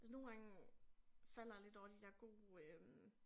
Altså nogle gange falder jeg lidt over de der gode øh